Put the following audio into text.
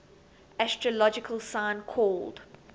astrological sign called